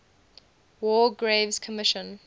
war graves commission